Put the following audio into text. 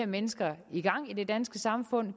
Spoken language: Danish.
mennesker i gang i det danske samfund